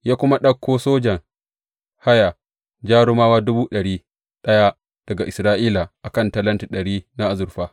Ya kuma ɗauko sojan haya jarumawa dubu ɗari ɗaya daga Isra’ila a kan talenti ɗari na azurfa.